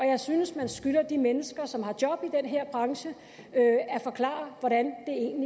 jeg synes man skylder de mennesker som har job i den her branche at forklare hvordan